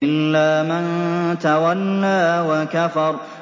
إِلَّا مَن تَوَلَّىٰ وَكَفَرَ